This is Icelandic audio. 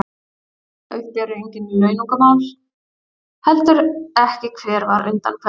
Hérna uppi eru engin launungarmál, heldur ekki hver var undan hverjum.